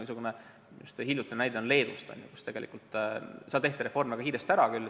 Üks hiljutine näide on Leedust, kus see reform väga kiiresti ära tehti.